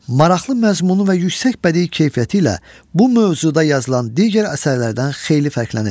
Maraqlı məzmunu və yüksək bədii keyfiyyəti ilə bu mövzuda yazılan digər əsərlərdən xeyli fərqlənir.